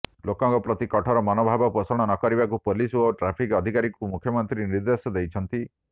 ଲୋକଙ୍କ ପ୍ରତି କଠୋର ମନଭାବ ପୋଷଣ ନକରିବାକୁ ପୋଲିସ ଓ ଟ୍ରାଫିକ ଅଧିକାରୀଙ୍କୁ ମୁଖ୍ୟମନ୍ତ୍ରୀ ନିର୍ଦ୍ଦେଶ ଦେଇଛନ୍ତି